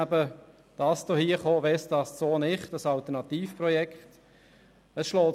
Dann kam dieses Alternativprojekt «Westast – so nicht!».